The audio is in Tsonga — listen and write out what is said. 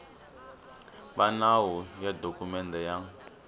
va nawu ya dokumende ya